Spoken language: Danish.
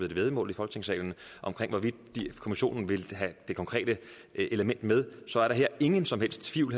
et væddemål i folketingssalen om det hvorvidt kommissionen vil have det konkrete element med så er der her ingen som helst tvivl